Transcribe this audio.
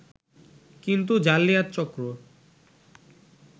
কিন্তু জালিয়াত চক্র